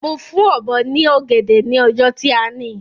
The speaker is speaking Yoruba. Mo fún Ọ̀bọ́ ní ọ̀gẹ̀dẹ̀ ni ọjọ́ tí a ni